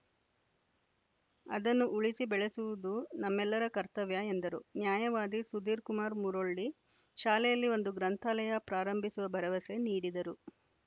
ಅದನ್ನು ಉಳಿಸಿ ಬೆಳೆಸುವುದು ನಮ್ಮೆಲ್ಲರ ಕರ್ತವ್ಯ ಎಂದರು ನ್ಯಾಯವಾದಿ ಸುಧೀರ್‌ಕುಮಾರ್‌ ಮುರೊಳ್ಳಿ ಶಾಲೆಯಲ್ಲಿ ಒಂದು ಗ್ರಂಥಾಲಯ ಪ್ರಾರಂಭಿಸುವ ಭರವಸೆ ನೀಡಿದರು